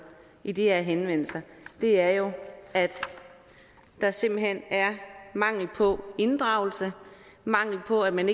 i de her henvendelser er jo at der simpelt hen er mangel på inddragelse mangel på at man